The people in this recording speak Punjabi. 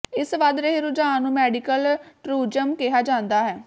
ਇਸ ਵੱਧ ਰਹੇ ਰੁਝਾਨ ਨੂੰ ਮੈਡੀਕਲ ਟੂਰਿਜ਼ਮ ਕਿਹਾ ਜਾਂਦਾ ਹੈ